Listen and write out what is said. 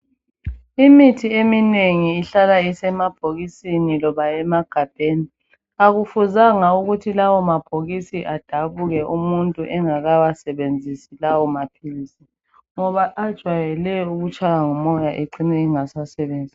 Imithi eminengi ihlala isemabhokisini loba emagabheni akufuzange ukuthi lawo mabhokisi adabuke umuntu engakawasebenzisi lawo maphilisi ngoba ajwayele ukutshawa ngumoya ecine engasasebenzi.